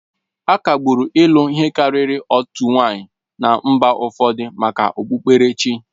Akagbụrụ ịlụ ihe karịrị otu nwanyị na mba ụfọdụ maka okpukperechi